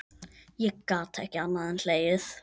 Ég gat ekki annað en hlegið.